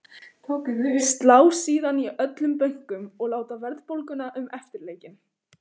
Slá síðan í öllum bönkum og láta verðbólguna um eftirleikinn.